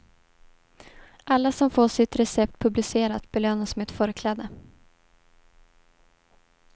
Alla som får sitt recept publicerat belönas med ett förkläde.